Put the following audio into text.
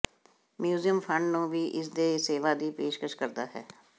museum fund ਨੂੰ ਵੀ ਇਸ ਦੇ ਸੇਵਾ ਦੀ ਪੇਸ਼ਕਸ਼ ਕਰਦਾ ਹੈ